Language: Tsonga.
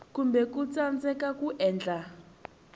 kumbe ku tsandzeka ku endla